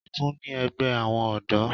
A tún ní ẹgbẹ́ àwọn ọ̀dọ́